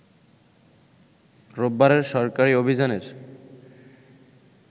রোববারের সরকারি অভিযানের